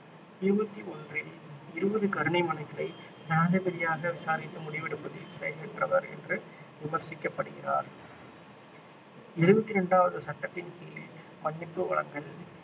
இருபத்தி ஒன்றில் இருபது கருணை மனுக்களை ஜனாதிபதியாக விசாரித்து முடிவெடுப்பதில் செயலற்றவர் என்று விமர்சிக்கப்படுகிறார் எழுபத்தி இரண்டாவது சட்டத்தின் கீழே மன்னிப்பு வழங்கல்